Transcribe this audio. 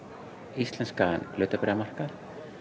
íslenskan hlutabréfamarkað